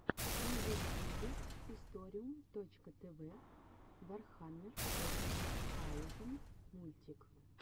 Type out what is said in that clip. на ютьюбе историум точка тв вархаммер фоти таузенд мультик